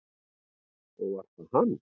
Og var það hann?